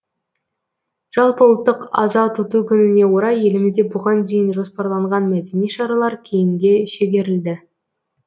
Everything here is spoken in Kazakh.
жалпыұлттық аза тұту күніне орай елімізде бұған дейін жоспарланған мәдени шаралар кейінге шегерілді